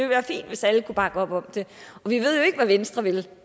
være fint hvis alle kunne bakke op om det vi ved jo ikke hvad venstre vil